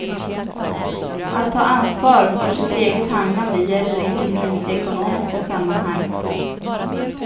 Att ha ansvar för sitt eget handlande gäller inte minst i ekonomiska sammanhang.